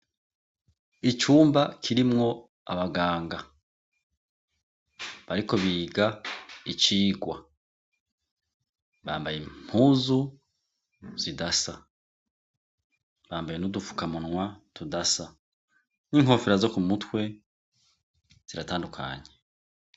Icumba kirimwo abaganga bariko biga icigwa. Bambaye impuzu zidasa, bamabaye n'udupfukamunwa tudasa n'inkofero zo ku mutwe ziratandukanye.